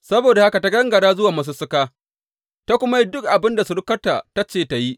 Saboda haka ta gangara zuwa masussuka ta kuma yi dukan abin da surukarta ta ce ta yi.